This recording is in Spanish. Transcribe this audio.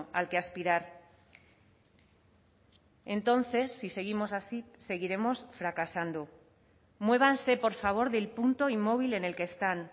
al que aspirar entonces si seguimos así seguiremos fracasando muévanse por favor del punto inmóvil en el que están